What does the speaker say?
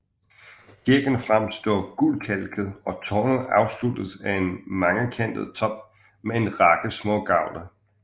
Kirken fremstår gulkalket og tårnet afsluttes af en mangekantet top med en række smågavle